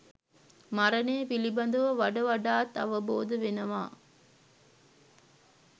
මරණය පිළිබඳව වඩ වඩාත් අවබෝධ වෙනවා.